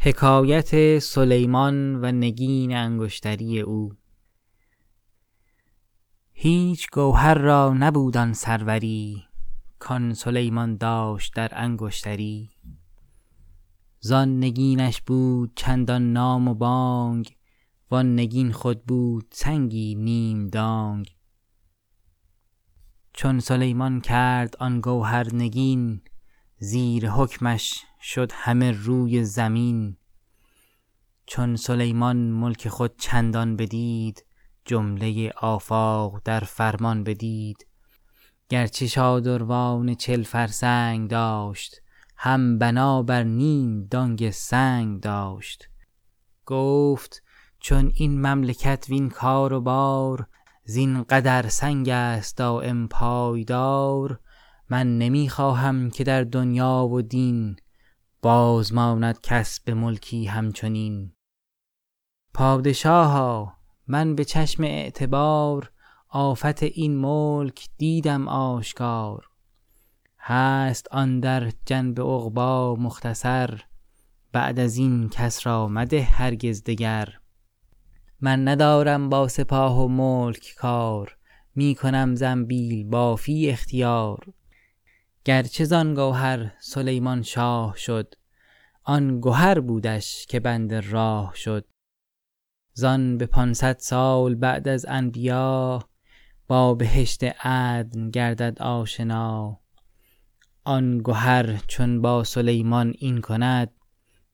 هیچ گوهر را نبود آن سروری کآن سلیمان داشت در انگشتری زآن نگینش بود چندان نام و بانگ و آن نگین خود بود سنگی نیم دانگ چون سلیمان کرد آن گوهر نگین زیر حکمش شد همه روی زمین چون سلیمان ملک خود چندان بدید جمله آفاق در فرمان بدید گر چه شادروان چل فرسنگ داشت هم بنا بر نیم دانگ سنگ داشت گفت چون این مملکت وین کار و بار زین قدر سنگ است دایم پایدار من نمی خواهم که در دنیا و دین باز ماند کس به ملکی هم چنین پادشاها من به چشم اعتبار آفت این ملک دیدم آشکار هست آن در جنب عقبی مختصر بعد از این کس را مده هرگز دگر من ندارم با سپاه و ملک کار می کنم زنبیل بافی اختیار گر چه زآن گوهر سلیمان شاه شد آن گهر بودش که بند راه شد زآن به پانصد سال بعد از انبیا با بهشت عدن گردد آشنا آن گهر چون با سلیمان این کند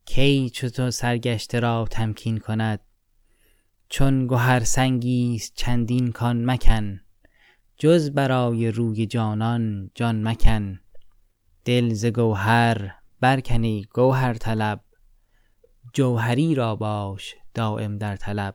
کی چو تو سرگشته را تمکین کند چون گهر سنگی ست چندین کان مکن جز برای روی جانان جان مکن دل ز گوهر برکن ای گوهرطلب جوهری را باش دایم در طلب